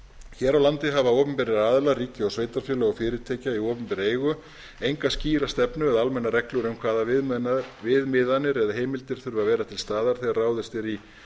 hér á landi hafa opinberir aðilar og fyrirtæki í opinberri eigu enga skýra stefnu eða almennar reglur um hvaða viðmiðanir eða heimildir þurfi að vera til staðar þegar ráðist er í